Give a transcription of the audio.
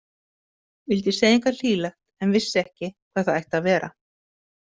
Vildi segja eitthvað hlýlegt en vissi ekki hvað það ætti að vera.